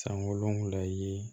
Sankolon la ye